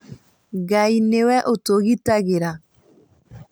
Ngai nĩwe ũtũgitagĩra